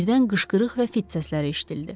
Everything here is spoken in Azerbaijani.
Birdən qışqırıq və fit səsləri eşidildi.